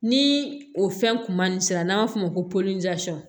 Ni o fɛn kuma ni sera n'an b'a f'o ma ko